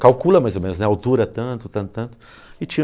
Calcula mais ou menos, né, a altura, tanto, tanto, tanto, e tira